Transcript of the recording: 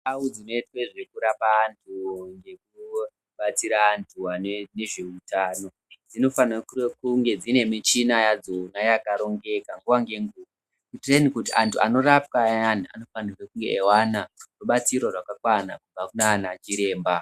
Ndau dzino itwe zveku rapa antu ngeku batsira antu ane ne zveutano dzino fanira kunge dzine michina yadzona yaka rongeka nguva nge nguva kuitire kuti antu ano rapwa ayani anofanira kunge eyi wana rubatsiro rwakakwana kubva kunana chiremba.